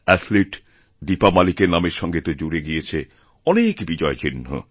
অ্যাথলিটদীপা মালিকের নামের সঙ্গে তো জুড়ে গিয়েছে অনেক বিজয়চিহ্ন